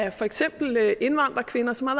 af for eksempel indvandrerkvinder som har